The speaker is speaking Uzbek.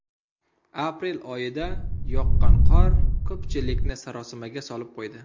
Aprel oyida yoqqan qor ko‘pchilikni sarosimaga solib qo‘ydi.